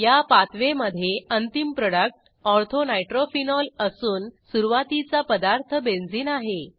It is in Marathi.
या पाथवेमधे अंतिम प्रॉडक्ट ortho नायट्रोफेनॉल असून सुरूवातीचा पदार्थ बेंझिन आहे